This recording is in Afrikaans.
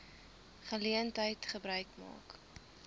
geleentheid gebruik maak